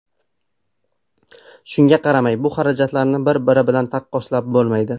Shunga qaramay, bu xarajatlarni bir-biri bilan taqqoslab bo‘lmaydi.